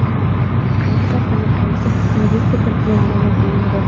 Qaysi kompaniya qancha investitsiya kiritgani ma’lum qilinmagan.